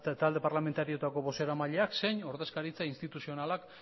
talde parlamentarioetako bozeramaileak zein ordezkaritza instituzionalak